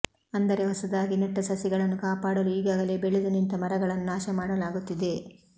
ಅಂದರೆ ಹೊಸದಾಗಿ ನೆಟ್ಟ ಸಸಿಗಳನ್ನು ಕಾಪಾಡಲು ಈಗಾಗಲೆ ಬೆಳೆದು ನಿಂತ ಮರಗಳನ್ನು ನಾಶ ಮಾಡಲಾಗುತ್ತಿದೆ